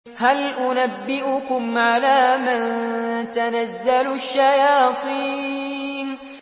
هَلْ أُنَبِّئُكُمْ عَلَىٰ مَن تَنَزَّلُ الشَّيَاطِينُ